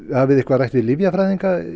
hafið þið rætt við lyfjafræðinga